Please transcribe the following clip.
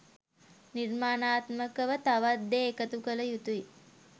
නිර්මාණාත්මකව තවත් දේ එකතු කළ යුතුයි